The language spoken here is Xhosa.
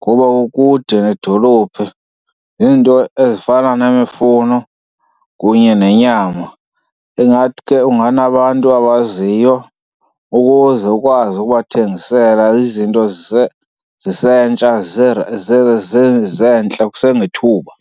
ngoba kukude nedolophi ziinto ezifana nemifuno kunye nenyama. Ingathi ke unganabantu abaziyo ukuze ukwazi ukubathengisela izinto zisentsha zisentle kusengethuba.